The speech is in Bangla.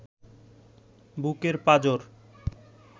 বুকের পাঁজর